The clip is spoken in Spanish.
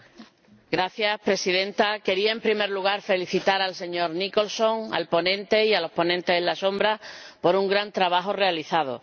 Señora Presidenta, quería, en primer lugar, felicitar al señor Nicholson, el ponente, y a los ponentes alternativos por un gran trabajo realizado.